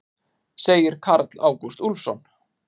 Segir Karl Ágúst Úlfsson.